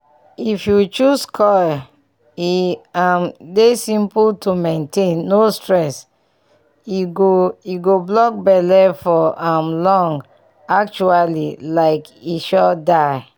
if you choose coil e um dey simple to maintain no stress and e go e go block belle for um long. actually like e sure die